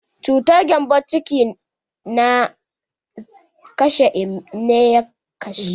Cutar gembon ciki na ya kashe Emeka.